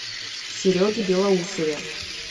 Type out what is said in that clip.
сереге белоусове